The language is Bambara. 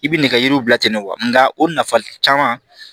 I bi nɛgɛjuru bila ten de wa o nafa caman